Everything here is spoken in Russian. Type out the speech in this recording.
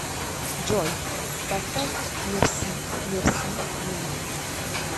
джой поставь мерси мерси ми